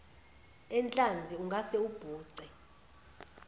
enhlanzi ungase ubhuce